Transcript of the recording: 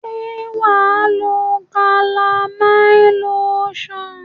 Se waa lo calamine lotion?